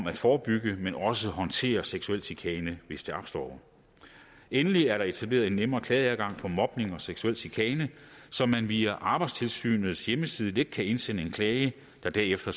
at forebygge men også håndtere seksuel chikane hvis den opstår endelig er der etableret en nemmere klageadgang for mobning og seksuel chikane så man via arbejdstilsynets hjemmeside let kan indsende en klage der derefter